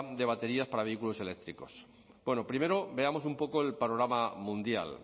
de baterías para vehículos eléctricos primero veamos un poco el panorama mundial